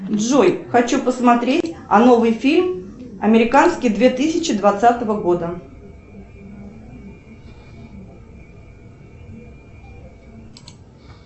джой хочу посмотреть новый фильм американский две тысячи двадцатого года